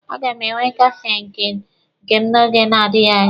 A ga m enwe Kafee nke m n'oge na-adịghi anya.